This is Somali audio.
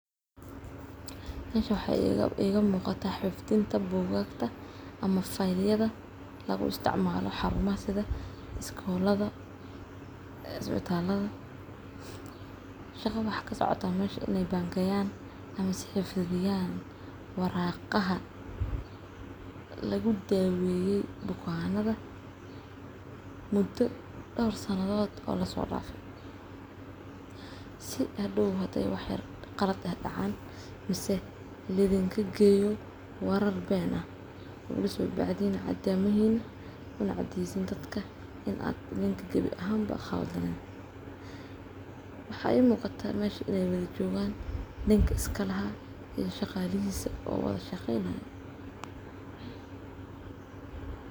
Mesha wxa I ga muqata fidinta bugagta ama fiyel yada lagu isticmalo xarumaha sitha scolada, isbitalada shaqa wxa kasocota inay bangeyan ama si fidiyan waraqaha lagu daweye bukanada, mudo dorsanadod laso dafe, si hadow haday waxqalad ah kacan mise laidin kageyo warar bena laso bacden cademehina kunacaseysin dadka inad inika gawi ahanba qaldanen wxa I muqata inay wadajoga ninki iskalaha iyo shaqalahisa o wada shaqeynay.